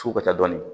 Su katɔnni